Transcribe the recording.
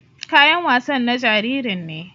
Kayan wasan na jaririn ne.